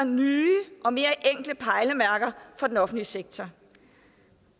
nye og mere enkle pejlemærker for den offentlige sektor